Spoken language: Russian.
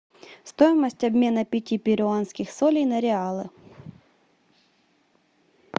стоимость обмена пяти перуанских солей на реалы